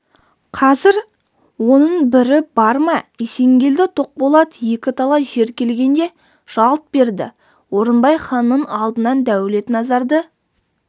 қазір оның бірі бар ма есенгелді-тоқболат екі талай жер келгенде жалт берді орынбай ханның алдынан дәулетназарды